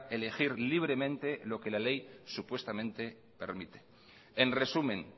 elegir libremente lo que la ley supuestamente permite en resumen